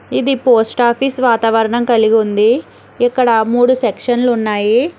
ఇది post office వాతావరణం కలిగి ఉంది ఇక్కడ మూడు సెక్షన్లు ఉన్నాయి.